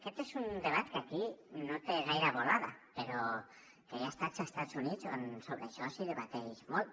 aquest és un debat que aquí no té gaire volada però que hi ha estats a estats units on sobre això es debat molt